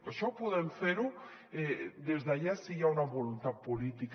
això ho podem fer des de ja si hi ha una voluntat política